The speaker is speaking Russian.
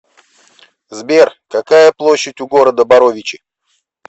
сбер какая площадь у города боровичи